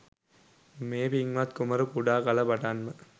මේ පින්වත් කුමරු කුඩා කල පටන් ම